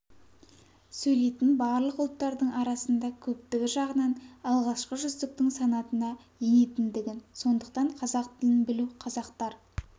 сөйлейтін барлық ұлттардың арасында көптігі жағынан алғашқы жүздіктің санатына енетіндігін сондықтан қазақ тілін білу қазақтар